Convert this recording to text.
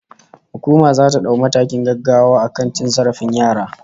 Hukuma zata dau matakin gaggawa akan cin zarafin yara